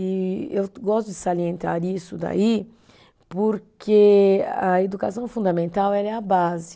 E eu gosto de salientar isso daí, porque a educação fundamental ela é a base.